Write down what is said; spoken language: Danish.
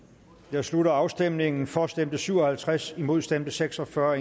jeg slutter afstemningen for stemte syv og halvtreds imod stemte seks og fyrre